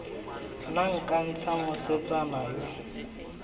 nna nka ntsha mosetsana yo